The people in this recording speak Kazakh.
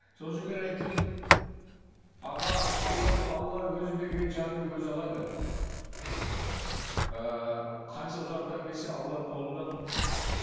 сосын мен айттым аға алла алла өзі берген жанды өзі алады ыыы қанша ұзартамын десе алланың қолында тұр